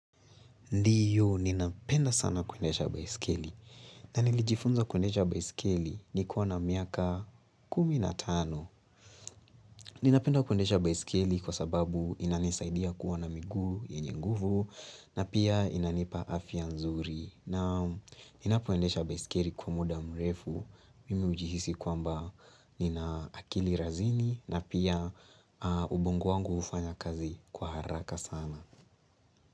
Ndiyo, ninapenda sana kuendesha baisikeli. Na nilijifunza kuendesha baisikeli nikiwa na miaka kumi na tano. Ninapenda kuendesha baisikeli kwa sababu inanisaidia kuwa na miguu, yenye nguvu, na pia inanipa afya nzuri. Na ninapo endesha baisikeli kwa muda mrefu. Mimi hujihisi kwamba nina akili razini, na pia ubongo wangu hufanya kazi kwa haraka sana.